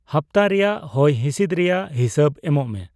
ᱦᱟᱯᱛᱟ ᱨᱮᱭᱟᱜ ᱦᱚᱭᱦᱤᱸᱥᱤᱫᱽ ᱨᱮᱭᱟᱜ ᱦᱤᱥᱟᱹᱵᱽ ᱮᱢᱚᱜ ᱢᱮ